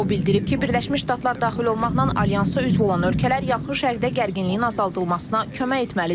O bildirib ki, Birləşmiş Ştatlar daxil olmaqla alyansa üzv olan ölkələr Yaxın Şərqdə gərginliyin azaldılmasına kömək etməlidir.